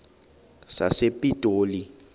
sasepitoli